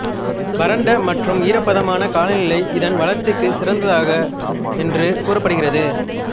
வறண்ட மற்றும் ஈரப்பதமான காலநிலை இதன் வளர்ச்சிக்குச் சிறந்ததாக என்று கூறப்படுகிறது